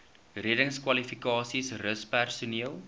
reddingskwalifikasies rus personeel